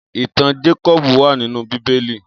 Itàn Jákòbú wà ninú Bibéli